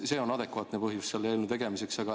See on adekvaatne põhjus selle eelnõu tegemiseks.